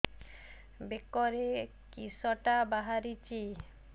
ବେକରେ କିଶଟା ବାହାରିଛି